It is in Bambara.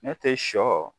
Ne tɛ sɔ